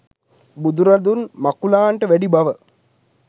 බුදුරදුන් මකුලානට වැඩි බව